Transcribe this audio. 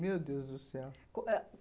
Meu Deus do céu. Ãh